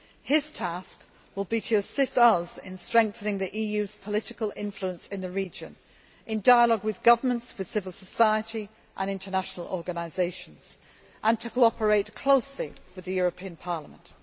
His task will be to assist us in strengthening the EU's political influence in the region in dialogue with governments, civil society and international organisations and to cooperate closely with the European Parliament.